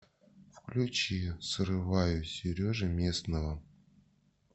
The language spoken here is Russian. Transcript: включи срываю сережи местного